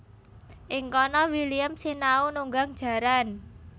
Ing kana William sinau nunggang jaran